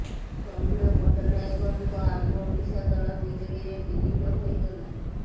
ସୌମ୍ୟ ପଟନାୟକଙ୍କ ଆମ ଓଡିଶା ଦଳ ବିଜେଡିରେ ବିଲିନ ହୋଇଗଲା